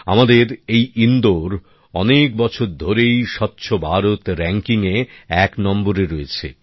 আমাদের এই ইন্দোর অনেক বছর ধরেই স্বচ্ছ ভারত র্যাংকিং এ এক নম্বরে রয়েছে